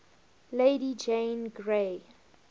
lady jane grey